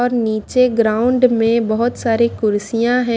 और नीचे ग्राउंड में बहुत सारी कुर्सियां है।